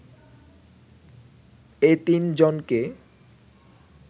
এ তিন জনকে